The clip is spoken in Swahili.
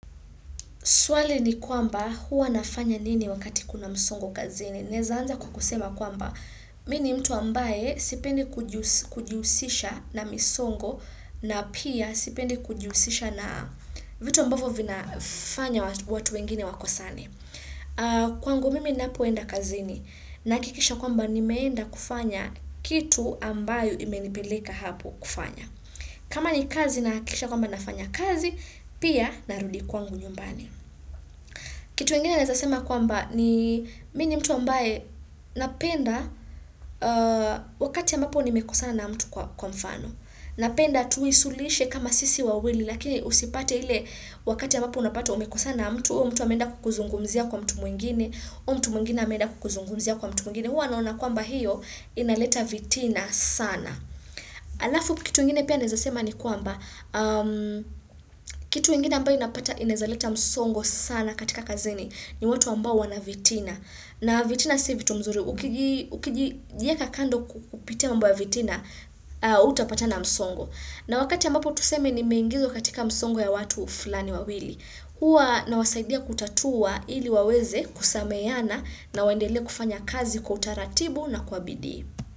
Swali ni kwamba huwa nafanya nini wakati kuna msongo kazini. Naeza anza kwa kusema kwamba, mini ni mtu ambaye sipendi kujihusisha na misongo na pia sipendi kujihusisha na vitu ambavyo vinafanya watu wengine wakosane. Kwangu mimi ninapoenda kazini nahakikisha kwamba nimeenda kufanya kitu ambayo imenipeleka hapo kufanya. Kama ni kazi nahakikisha kwamba nafanya kazi, pia narudi kwangu nyumbani. Kitu ingine naeza sema kwamba ni; mimi ni mtu ambaye napenda, wakati ambapo nimekosana na mtu, kwa mfano. Napenda tuisuluhuishe kama sisi wawili lakini usipate ile wakati ambapo unapata umekosana na mtu, huyo mtu ameenda kukuzungumzia kwa mtu mwingine, huyo mtu mwingine ameenda kukuzungumzia kwa mtu mwingine. Huwa naona kwamba hiyo inaleta vitina sana. Alafu kitu ingine pia naeza sema ni kwamba, kitu ingine ambayo unapata inaeza leta msongo sana katika kazini. Ni watu ambao wana vitina. Na vitina si vitu mzuri, ukijieka kando kupitia mambo vitina, hutapata na msongo. Na wakati ambapo tuseme nimeingizwa katika msongo ya watu fulani wawili. Hua nawasaidia kutatua ili waweze kusameheana na waendele kufanya kazi kwa utaratibu na kwa bidii.